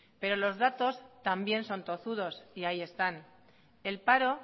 pero los datos también son tozudos y ahí están el paro